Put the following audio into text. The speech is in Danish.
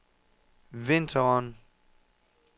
vinteren